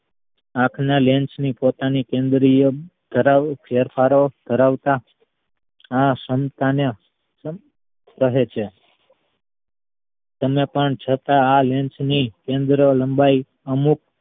આપણા lens ની પોતાની કેન્દ્રીય કરવું ~ કરાવતા આ ક્ષમતા ને કહે છે તેમ પણ છતાં આ lens ની કેન્દ્ર લંબાઈ અમુક